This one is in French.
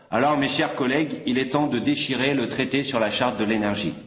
Alors mes chers collègues, il est temps de déchirer le traité sur la charte de l'énergie.